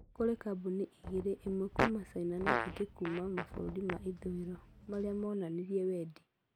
Kũrĩ kambuni igĩrĩ ĩmwe kuuma China na ĩngĩ kuuma mabũrũri ma Ithũĩro marĩa monanirie wendi.